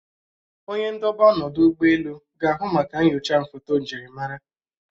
Onye ndobe ọnọdụ ụgbọelu ga-ahụ maka nnyocha foto njirimara